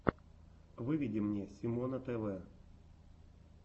выведи мне симона тв